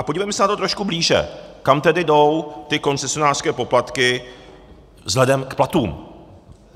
A podívejme se na to trošku blíže, kam tedy jdou ty koncesionářské poplatky vzhledem k platům.